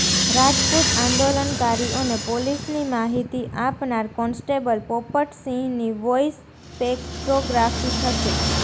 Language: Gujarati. રાજપુત આંદોલનકારીઓને પોલીસની માહિતી આપનાર કોન્સ્ટેબલ પોપટસિંહની વોઈસ સ્પેકટ્રોગ્રાફી થશે